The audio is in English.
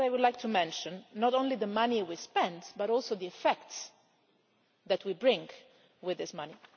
But I would like to mention not only the money we spend, but also the effects that we bring with this money.